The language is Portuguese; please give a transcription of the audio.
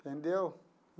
Entendeu?